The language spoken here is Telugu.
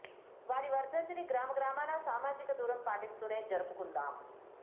వారి వర్థంతి ని గ్రామ గ్రామాన సామాజిక దూరం పాటిస్తూనే జరుపుకుందాం